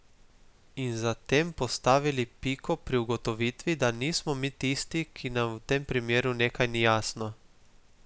In za tem postavili piko pri ugotovitvi, da nismo mi tisti, ki nam v tem primeru nekaj ni jasno.